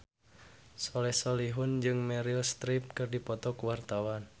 Soleh Solihun jeung Meryl Streep keur dipoto ku wartawan